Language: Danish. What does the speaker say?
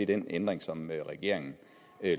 den ændring som regeringen